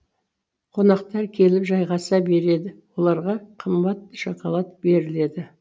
қонақтар келіп жайғаса береді оларға қымбат шоколад беріледі